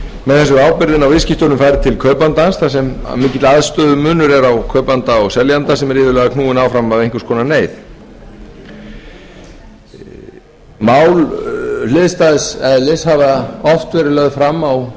með þessu er ábyrgðin á viðskiptunum færð til kaupandans þar sem mikill aðstöðumunur er á kaupanda og seljanda sem er iðulega knúinn áfram af einhvers konar neyð mál hliðstæðs eðlis hafa oft verið lögð fram